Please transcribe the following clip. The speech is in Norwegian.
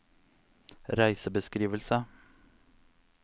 reisebeskrivelse